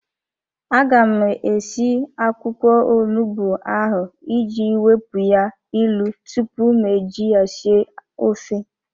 A ga m esi akwụkwọ onugbu ahụ iji wepụ ya ilu tupu m eji ya sie ofe.